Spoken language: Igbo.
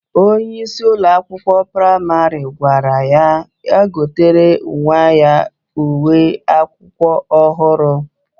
Onye isi Ụlọ akwụkwọ praịmarị gwara ya gotere nwa ya uwe akwụkwọ ohuru.